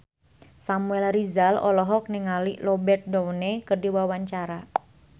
Samuel Rizal olohok ningali Robert Downey keur diwawancara